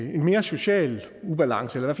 give mere social ubalance eller